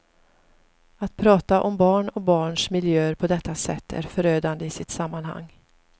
Att prata om barn och barns miljöer på detta sätt är förödande i sitt sammanhang.